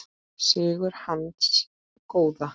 Sigur hins góða.